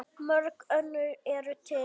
Mörg önnur eru til.